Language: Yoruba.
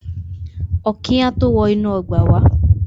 Ọ̀kín á tó wọ inú ọgbà wá.